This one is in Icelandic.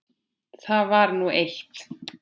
Það var nú eitt.